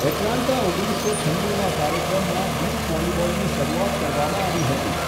Atlanta ઓગણીસો છન્નુના કાર્યક્રમમાં બીચ વોલીબોલની શરૂઆત કરવામાં આવી હતી.